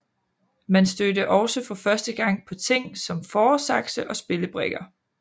Man stødte også for første gang på ting som fåresakse og spillebrikker